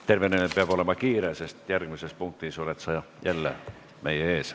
Tervenemine peab olema kiire, sest järgmises punktis oled sa jälle meie ees.